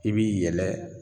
I bi yɛlɛ